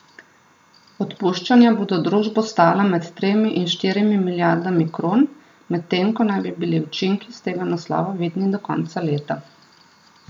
Odpuščanja bodo družbo stala med tremi in štirimi milijardami kron, medtem ko naj bi bili učinki iz tega naslova vidni do konca leta.